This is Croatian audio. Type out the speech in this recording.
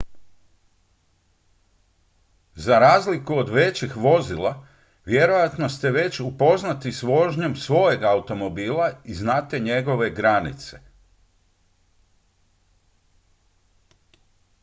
za razliku od većih vozila vjerojatno ste već upoznati s vožnjom svojeg automobila i znate njegove granice